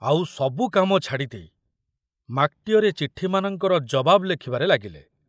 ଆଉ ସବୁ କାମ ଛାଡ଼ିଦେଇ ମାକଟିଅର ଏ ଚିଠିମାନଙ୍କର ଜବାବ ଲେଖିବାରେ ଲାଗିଲେ।